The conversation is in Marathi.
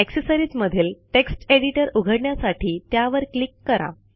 अक्सेसरिजमधील टेक्स्ट एडिटर उघडण्यासाठी त्यावर क्लिक करा